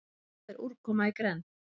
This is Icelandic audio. Hvað er úrkoma í grennd?